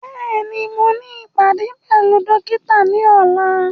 Bẹ́ẹ̀ni, mo ní ìpàdé pẹ̀lú dókítà ní ọ̀la